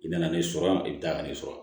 I nana ne sɔrɔ yan i bɛ taa ka ne sɔrɔ